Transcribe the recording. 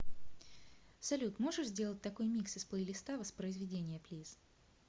салют можешь сделать такой микс из плейлиста воспроизведения плиз